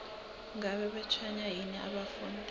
ngabe batshwenywa yini abafundi